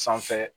Sanfɛ